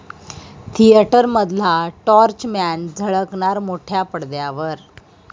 थिएटरमधला torchman झळकणार मोठ्या पडद्यावर